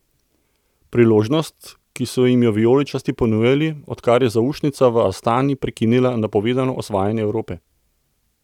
Priložnost, ki so jim jo vijoličasti ponujali, odkar je zaušnica v Astani prekinila napovedano osvajanje Evrope.